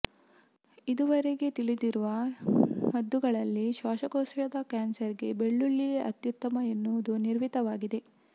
ಇದುವರೆಗೆ ತಿಳಿದಿರುವ ಮದ್ದುಗಳಲ್ಲಿ ಶ್ವಾಸಕೋಶದ ಕ್ಯಾನ್ಸರ್ ಗೆ ಬೆಳ್ಳುಳ್ಳಿಯೇ ಅತ್ಯುತ್ತಮ ಎನ್ನುವುದು ನಿರ್ವಿವಾದವಾಗಿದೆ